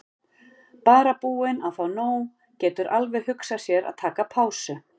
Bara búinn að fá nóg, getur alveg hugsað sér að taka pásu.